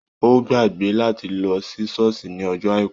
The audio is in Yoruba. Ó gbàgbé láti lọ sí Ṣọ́ọ̀ṣì ní ọjọ́ Àìkú.